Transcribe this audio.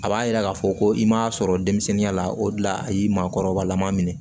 A b'a jira k'a fɔ ko i m'a sɔrɔ denmisɛnninya la o de la a y'i maakɔrɔbalaman minɛ